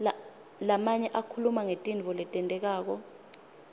lamanye akhuluma ngetintfo letentekako